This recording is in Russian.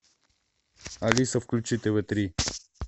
алиса включи тв три